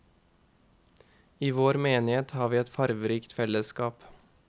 I vår menighet har vi et farverikt fellesskap.